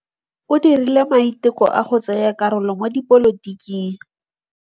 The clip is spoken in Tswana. O dirile maitekô a go tsaya karolo mo dipolotiking.